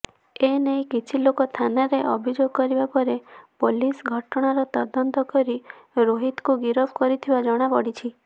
ଏନେଇ କିଛିଲୋକ ଥାନାରେ ଅଭିଯୋଗ କରିବାପରେ ପୋଲିସ ଘଟଣାର ତଦନ୍ତ କରି ରୋହିତକୁ ଗିରଫ କରିଥିବା ଜଣାପଡିଛି